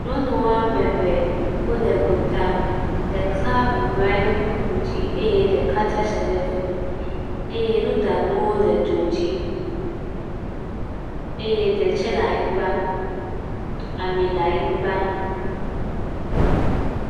nyɔnu ameve le gota ɖeka bublu nanyi ɖe kpukpu dzi ye ɖeka tsatse le fimi eye nuɖanuwo le dzo dzi eye ɖe tsɛ la nyigbã ami la nyigbã